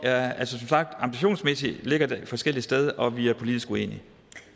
ambitionsmæssigt ligger et forskelligt sted og hvor vi er politisk uenige